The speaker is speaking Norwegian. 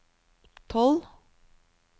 tolv